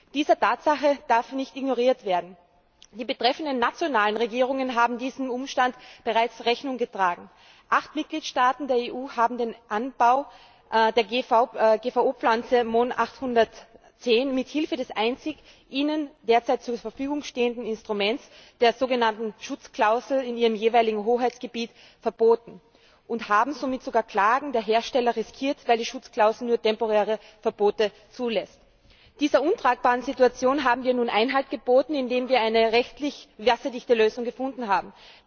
Diese Tatsache darf nicht ignoriert werden. Die betreffenden nationalen Regierungen haben diesem Umstand bereits Rechnung getragen. Acht Mitgliedstaaten der EU haben den Anbau der GVO Pflanze Mohn 810 mithilfe des einzigen ihnen derzeit zur Verfügung stehenden Instruments, der sogenannten Schutzklausel, in ihrem jeweiligen Hoheitsgebiet verboten und haben somit sogar Klagen der Hersteller riskiert, weil die Schutzklausel nur temporäre Verbote zulässt. Dieser untragbaren Situation haben wir nun Einhalt geboten, indem wir eine rechtlich wasserdichte Lösung gefunden haben.